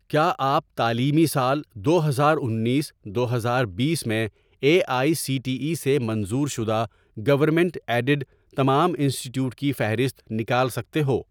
کیا آپ تعلیمی سال دو ہزار انیس دو ہزار بیس میں A I C T E سے منظور شدہ گورنمنٹ ایڈیڈ تمام انسٹی ٹیوٹ کی فہرست نکال سکتے ہو؟